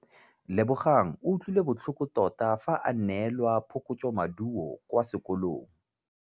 Lebogang o utlwile botlhoko tota fa a neelwa phokotsômaduô kwa sekolong.